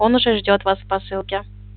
он уже ждёт вас в посылке